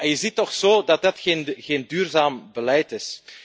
Je ziet toch zo dat dat geen duurzaam beleid is.